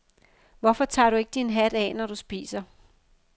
Hvorfor tager du ikke din hat af, når du spiser.